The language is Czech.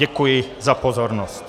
Děkuji za pozornost.